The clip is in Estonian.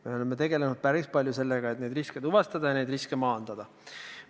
Me oleme tegelenud päris palju sellega, et neid riske tuvastada ja neid riske maandada.